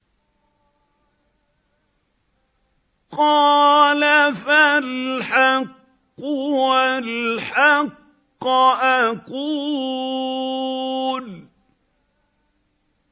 قَالَ فَالْحَقُّ وَالْحَقَّ أَقُولُ